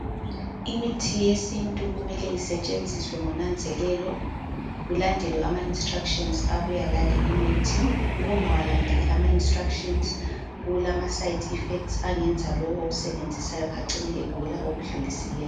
Imithi yesintu kumele isetshenziswe ngonanzelelo, kulandelwe ama instructions abuya laleyo imithi. Ukungawalandeli ama instructions kulama side effects angenza lowo owusebenzisayo acine egula okudlulisileyo.